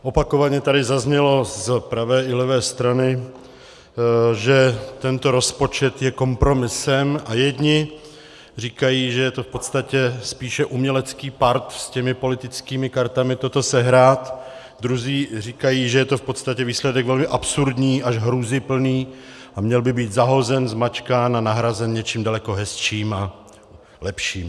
Opakovaně tady zaznělo z pravé i levé strany, že tento rozpočet je kompromisem, a jedni říkají, že je to v podstatě spíše umělecký part s těmi politickými kartami toto sehrát, druzí říkají, že je to v podstatě výsledek velmi absurdní až hrůzyplný a měl by být zahozen, zmačkán a nahrazen něčím daleko hezčím a lepším.